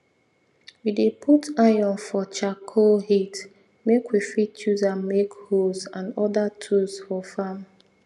we dey put iron for charcoal heat make we fit use am make hoes and other tools for farm